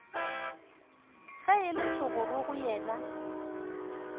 ge e le thogorogo yena